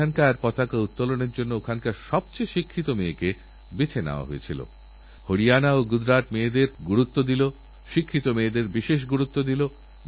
আমাদের নিত্যকার সমস্যা সমাধানেরজন্য প্রযুক্তির ব্যবহার আমাদের সমস্যাসঙ্কুল জীবন থেকে মুক্তির জন্য জীবনযাত্রাকেসহজ করার জন্য আমাদের নবীন প্রজন্ম যত কাজ করবে তাদের অবদান একবিংশ শতকের আধুনিকভারতের জন্য গুরুত্বপূর্ণ হয়ে উঠবে